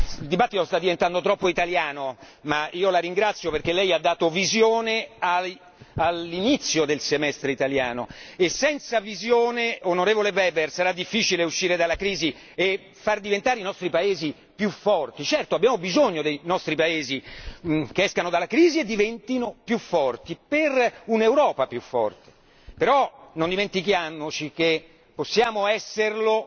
Il dibattito sta diventando troppo italiano ma io la ringrazio perché lei ha tracciato una visione all'inizio del Semestre italiano e senza visione, onorevole Weber, sarà difficile uscire dalla crisi e far diventare i nostri Paesi più forti. Certo, abbiamo bisogno che i nostri Paesi escano dalla crisi e diventino più forti per un'Europa più forte. Però non dimentichiamoci che possiamo esserlo